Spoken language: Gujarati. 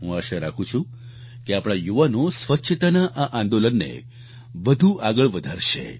હું આશા રાખું છું કે આપણા યુવાનો સ્વચ્છતાના આ આંદોલનને વધુ આગળ વધારશે